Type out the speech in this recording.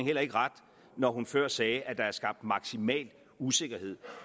heller ikke ret når hun før sagde at der er skabt maksimal usikkerhed